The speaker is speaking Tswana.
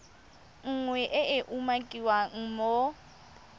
nngwe e e umakiwang mo